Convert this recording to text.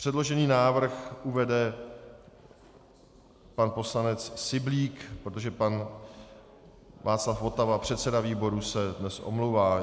Předložený návrh uvede pan poslanec Syblík, protože pan Václav Votava, předseda výboru, se dnes omlouvá.